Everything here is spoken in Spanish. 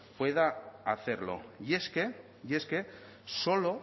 pueda hacerlo y es que y es que solo